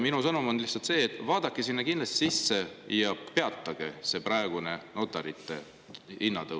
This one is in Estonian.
Minu sõnum on lihtsalt see, et vaadake sinna kindlasti sisse ja peatage see notari.